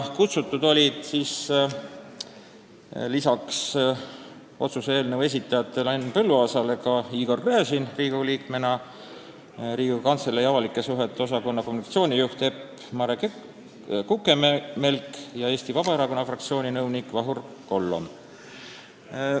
Kutsutud olid lisaks otsuse eelnõu esitajate esindajale Henn Põlluaasale ka Igor Gräzin Riigikogu liikmena, Riigikogu Kantselei avalike suhete osakonna kommunikatsioonijuht Epp-Mare Kukemelk ja Eesti Vabaerakonna fraktsiooni nõunik Vahur Kollom.